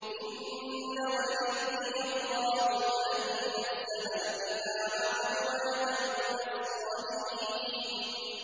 إِنَّ وَلِيِّيَ اللَّهُ الَّذِي نَزَّلَ الْكِتَابَ ۖ وَهُوَ يَتَوَلَّى الصَّالِحِينَ